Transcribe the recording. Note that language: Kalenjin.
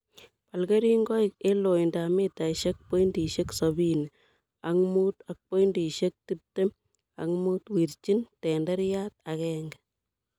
Bal kerinkoik en loindab mitaisiek pontisiek sobini ok mut ak pointisiek tiptem ak mut. Wirchin tenderiat agenge.